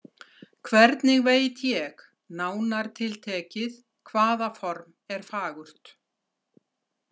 Hvernig veit ég, nánar tiltekið, hvaða form er fagurt?